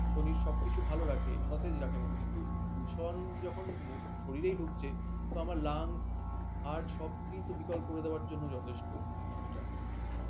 শরীর সব কিছু ভাল রাখে সতেজ রাখে মন কিন্তু দূষণ যখন শরীরেই ঢুকছে তো আমার lung heart সব কিছু বিকল করে দেয়ার জন্য যথেষ্ট এটা